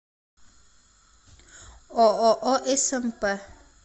ооо смп